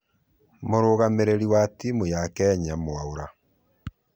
Mũrũgamĩrĩri wa timu ya kenya mwaura